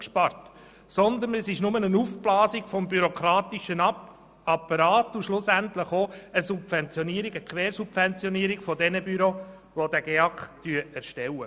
Vielmehr handelt es sich nur um ein Aufblasen des bürokratischen Apparats und schlussendlich ebenfalls um eine Quersubventionierung derjenigen Büros, die diesen GEAK erstellen.